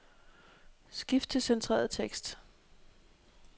Skift til centreret tekst.